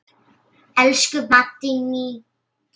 Elsku Maddý mín.